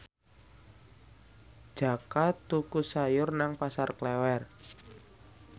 Jaka tuku sayur nang Pasar Klewer